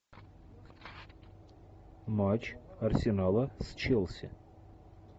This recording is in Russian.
матч арсенала с челси